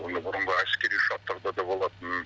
оны бұрынғы әскери ұшақтарда да болатын